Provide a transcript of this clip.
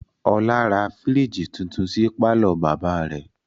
Ọlá ra fírìjì tuntun sí pàlọ́ bàbá rẹ̀